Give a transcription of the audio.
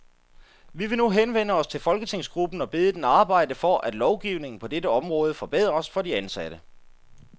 Vi vil nu henvende os til folketingsgruppen og bede den arbejde for, at lovgivningen på dette område forbedres for de ansatte.